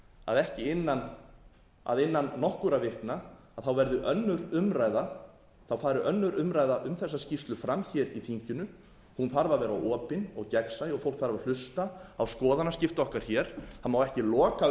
það frú forseti að innan nokkurra vikna verði önnur umræða þá fari önnur umræða um þessa skýrslu fram hér í þinginu hún þarf að vera opin og gegnsæ og fólk þarf að hlusta á skoðanaskipti okkar hér það má ekki loka